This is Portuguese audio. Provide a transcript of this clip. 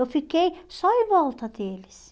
Eu fiquei só em volta deles.